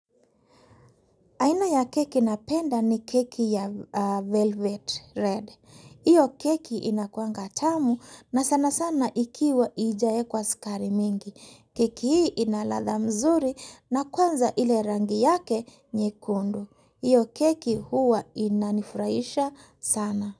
Aina ya keki na panda ni keki ya velvet red. Iyo keki inakuanga tamu na sana sana ikiwa haijaekwa sukari mingi. Keki hii ina ladha mzuri na kwanza ile rangi yake nyekundu. Iyo keki huwa inanifurahisha sana.